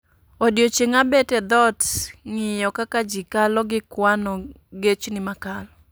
Odiechieng' abet e dhot ng'iyo kaka ji kalo gi kwano gechni makalo